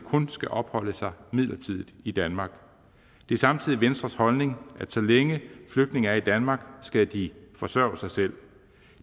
kun skal opholde sig midlertidigt i danmark det er samtidig venstres holdning at så længe flygtninge er i danmark skal de forsørge sig selv